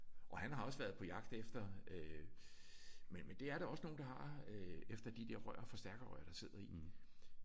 Og han har også været på jagt efter øh men men det er der også nogen der har efter de der rør forstærkerrør der sidder i